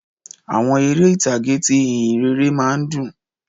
Àwọn eré ìtàgé ti ìhìnrere má a ń dùn